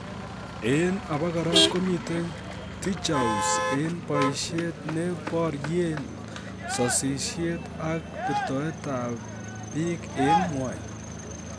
En abakora komiten Tijoux en boishet ne boryen sosiyet ak birtoetab bik en ng'wony.